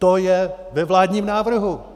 To je ve vládním návrhu!